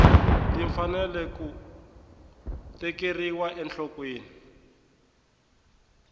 ti fanele ku tekeriwa enhlokweni